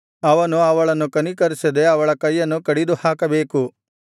ಅವನು ಅವಳನ್ನು ಕನಿಕರಿಸದೆ ಅವಳ ಕೈಯನ್ನು ಕಡಿದುಹಾಕಬೇಕು